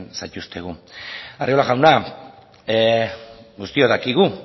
zaituztegu arriola jauna guztiok dakigu